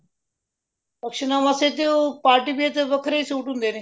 function ਨਾ ਵਾਸਤੇ ਤੇ ਉਹ party wear ਤੇ ਵੱਖਰੇ ਸੂਟ ਹੁੰਦੇ ਨੇ